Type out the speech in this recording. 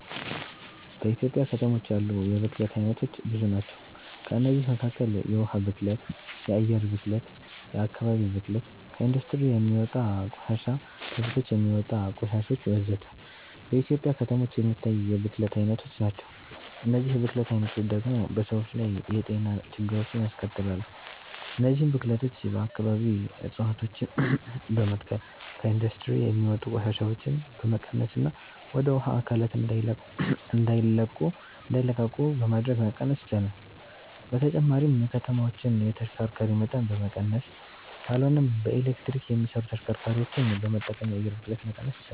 በኢትዮጵያ ከተሞች ያሉ የብክለት አይነቶች ብዙ ናቸው። ከእነዚህም መካከል የውሃ ብክለት፣ የአየር ብክለት፣ የአከባቢ ብክለት፣ ከኢንዱስትሪ የሚወጣ ቆሻሻ፣ ከቤቶች የሚወጣ ቆሻሾች ወዘተ። በኢትዮጵያ ከተሞች የሚታይ የብክለት አይነቶች ናቸው። እነዚህ የብክለት አይነቶች ደግሞ በሰዎች ላይ የጤና ችግሮችን ያስከትላሉ። እነዚህን ብክለቶች በአከባቢ እፀዋቶችን በመትከል፣ ከኢንዱስትሪ የሚወጡ ቆሻሻዎችን በመቀነስና ወደ ውሃ አካላት እንዳይለቁ በማድረግ መቀነስ ይቻላል። በተጨማሪም የከተማዎችን የተሽከርካሪ መጠን በመቀነስ ካልሆነም በኤሌክትሪክ የሚሰሩ ተሽከርካሪዎችን በመጠቀም የአየር ብክለትን መቀነስ ይቻላል።